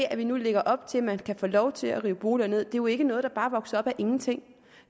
at vi nu lægger op til at man kan få lov til at rive boliger ned er jo ikke noget der bare vokser op af ingenting